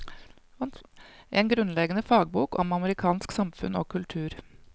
En grunnleggende fagbok om amerikansk samfunn og kultur.